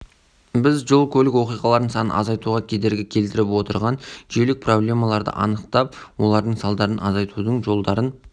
жалпы алғанда тұжырымдама жол қозғалысы қауіпсіздігі саласында біздің жүргізген ғылыми зерттеулеріміздің нәтижесі болғанын атап өткім келеді